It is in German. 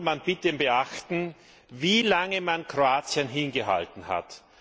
Nun soll man bitte beachten, wie lange man Kroatien hingehalten hat.